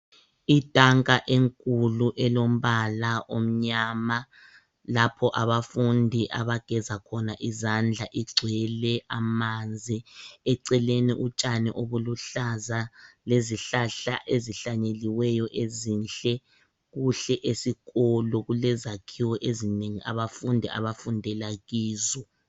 Itanka enkulu elombala omnyama lapho abafundi abageza khona izandla igcwele amanzi .Eceleni utshani obuluhlaza lezihlahla ezihlanyeliweyo ezinhle. Kuhle esikolo kulezakhiwo ezinengi abafundi abafundela kizo.